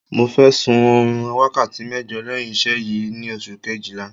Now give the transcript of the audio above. Mo fẹ́ sun oorun wákàtí mẹ́jọ lẹ́yìn iṣẹ́ yìí ni oṣù kejìlá